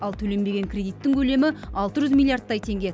ал төленбеген кредиттің көлемі алты жүз миллиардтай теңге